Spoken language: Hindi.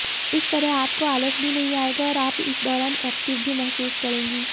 इस तरह आपको आलस भी नहीं आएगा और आप इस दौरान एक्टिव भी महसूस करेंगी